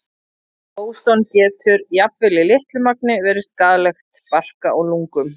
Óson getur, jafnvel í litlu magni, verið skaðlegt barka og lungum.